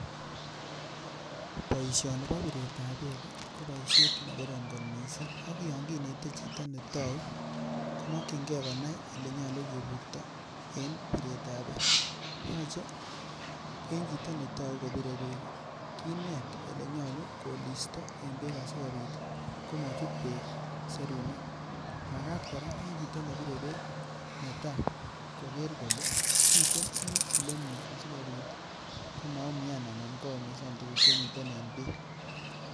Boishoni bo biret ab beek ko boishet ne korom kot missing ak yon kinetee chito ne touu komokyigee konai ole nyoluu kiburto en biret ab beek. Yoche en chito ne tou kobire beek ii kinet ole nyoluu kolisto en beek asikopit komochut beek serunek. Magat koraa en chito nebiree beek netaa kogere kolee miten en elemie asikopit koma umian ana komaumisan tugug chemiten en beek